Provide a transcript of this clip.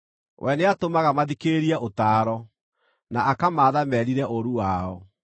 We nĩatũmaga mathikĩrĩrie ũtaaro, na akamaatha merire ũũru wao.